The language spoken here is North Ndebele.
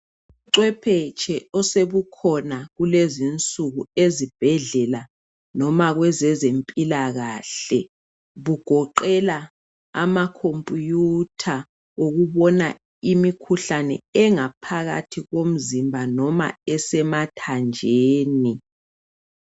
Ubucwephetshe osebukhona kulezinsuku ezibhedlela noma kwezezempilakahle bugoqela amacomputer okubona imikhuhlane engaphakathi komzimba noma esemathanjeni .